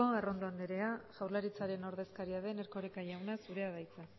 arrondo anderea jaurlaritzaren ordezkaria den erkoreka jauna zurea da hitza